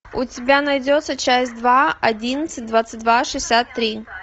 у тебя найдется часть два одиннадцать двадцать два шестьдесят три